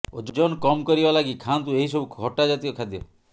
ଓଜନ କମ୍ କରିବା ଲାଗି ଖାଆନ୍ତୁ ଏହିସବୁ ଖଟା ଜାତୀୟ ଖାଦ୍ୟ